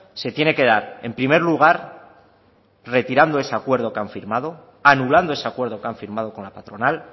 se tiene que dar en primer lugar retirando ese acuerdo que han firmado anulando ese acuerdo que han firmado con la patronal